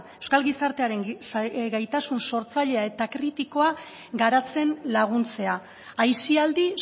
euskal gizartearen gaitasun sortzailea eta kritikoa garatzen laguntzea aisialdi